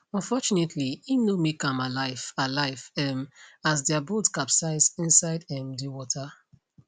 unfortunately im no make am alive alive um as dia boat capsize inside um di water